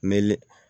Me l